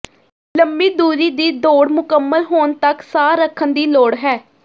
ਲੰਮੀ ਦੂਰੀ ਦੀ ਦੌੜ ਮੁਕੰਮਲ ਹੋਣ ਤੱਕ ਸਾਹ ਰੱਖਣ ਦੀ ਲੋੜ ਹੈ